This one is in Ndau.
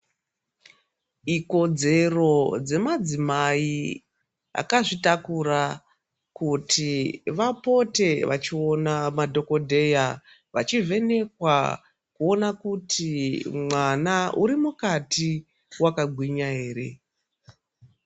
Ikodzero dzemadzimai akazvitakura kuti vapote vachivhenekwa kuona kuti mwana uri mukati wakagwinya ere.